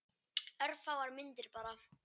Örfáar myndir bara.